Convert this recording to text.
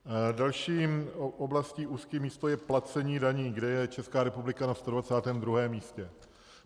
Další oblastí, úzkým místem, je placení daní, kde je Česká republika na 122. místě.